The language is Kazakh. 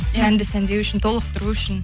әнді сәндеу үшін толықтыру үшін